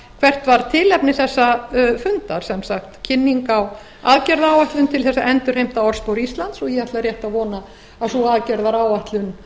hvert var tilefni þessa fundar sem sagt kynning á aðgerðaáætlun til þess að endurheimta orðspor íslands og ég ætla rétt að vona að sú aðgerðaáætlun